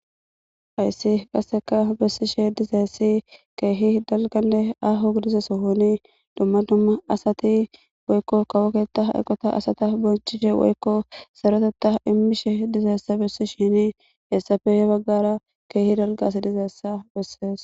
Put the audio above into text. Hayssi qaseka bessishe dizayssi keehi dalganne aaho gidiza sohoni dumma dumma asati woykko kawo keththa eqota asata bonchishe woykko sarotetha immishe dizaysse bessishini heessappe hebaggara keehi dalga asay dizayssa bessees.